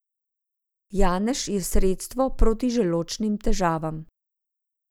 Janež je sredstvo proti želodčnim težavam.